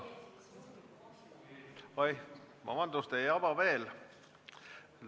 Oi, vabandust!